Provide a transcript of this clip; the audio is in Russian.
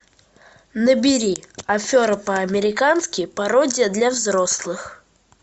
набери афера по американски пародия для взрослых